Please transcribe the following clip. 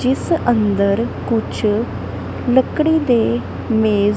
ਜਿਸ ਅੰਦਰ ਕੁਝ ਲੱਕੜੀ ਦੇ ਮੇਜ--